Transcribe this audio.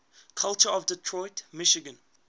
culture of detroit michigan